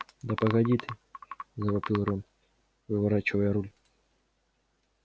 да погоди ты завопил рон выворачивая руль